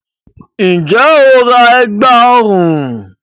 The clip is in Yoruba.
Ǹjẹ́ o ra ẹ̀gbá ọrùn?